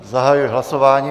Zahajuji hlasování.